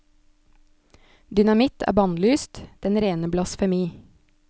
Dynamitt er bannlyst, den rene blasfemi.